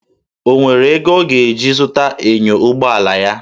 O nwere ego ọ ga-eji zụta enyo ụgbọ ala ya?